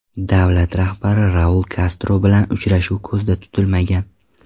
Davlat rahbari Raul Kastro bilan uchrashuv ko‘zda tutilmagan.